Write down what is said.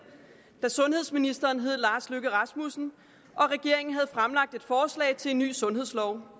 da sundhedsministeren hed lars løkke rasmussen og regeringen havde fremlagt et forslag til en ny sundhedslov